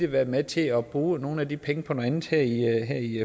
været med til at bruge nogle af de penge på noget andet her i